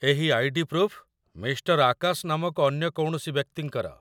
ଏହି ID. Proof Mr. Akash ନାମକ ଅନ୍ୟ କୌଣସି ବ୍ୟକ୍ତିଙ୍କର